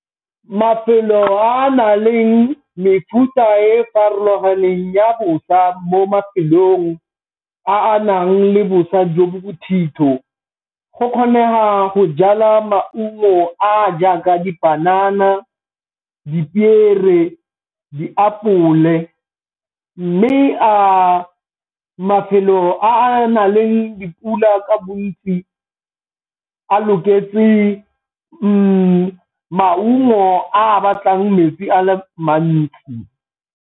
Mafelo a a nang le mefuta e farologaneng ya bosa mo mafelong a a nang le bosa jo bo bothitho, go kgonega go jala maungo a jaaka dipanana, dipiere, diapole. Mme a mafelo a a nang le dipula ka bontsi a loketse ke maungo a batlang metsi a mantsi?